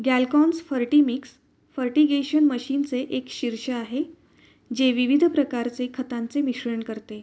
ग्यालकॉम्स Fertimix fertigation machine चे एक शीर्ष आहे. जे विविध प्रकारचे खतांचे मिश्रण करते.